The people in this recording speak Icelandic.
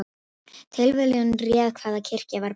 Tilviljun réð hvaða kirkja var brennd